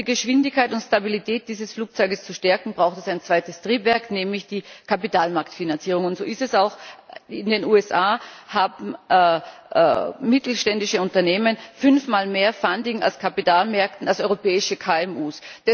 Um die Geschwindigkeit und Stabilität dieses Flugzeugs zu stärken, braucht es ein zweites Triebwerk, nämlich die Kapitalmarktfinanzierung, und so ist es auch In den USA haben mittelständische Unternehmen fünfmal mehr Funding aus Kapitalmärkten als europäische KMUs.